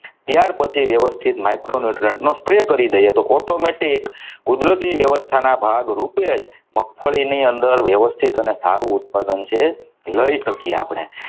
ત્યાર પછી વ્યવસ્થિત micro newtriunt નો spray કરી દઈએ તો automatic કુદરતી વ્યવસ્થા ના ભાગરૂપે જ મગફળી ની અંદર વ્યવસ્થિત અને સારું ઉત્પાદન છે લઈ શકીએ આપણે.